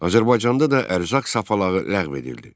Azərbaycanda da ərzaq sapalağı ləğv edildi.